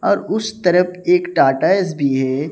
और उस तरफ एक टाटा एस_बी है।